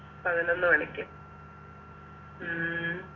പതിനൊന്നുമണിക്ക് ഉം